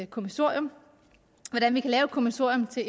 kommissorium kommissorium til